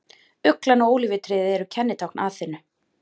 Uglan og ólífutréð eru kennitákn Aþenu.